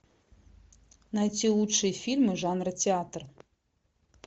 найти лучшие фильмы жанра театр